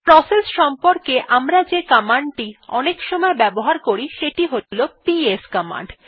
process সম্পর্কে আমরা যে কমান্ডটি অনেকসময় ব্যবহার করি সেটি হলো পিএস কমান্ড